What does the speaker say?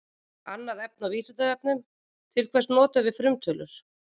Annað efni á Vísindavefnum: Til hvers notum við frumtölur?